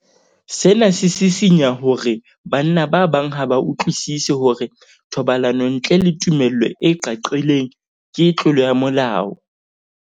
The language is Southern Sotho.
Sena se sisinya hore banna ba bang ha ba utlwisisi hore thobalano ntle le tumello e qaqileng ke tlolo ya molao.